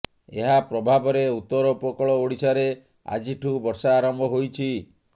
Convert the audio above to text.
ଏହା ପ୍ରଭାବରେ ଉତ୍ତର ଉପକୂଳ ଓଡ଼ିଶାରେ ଆଜିଠୁ ବର୍ଷା ଆରମ୍ଭ ହୋଇଛି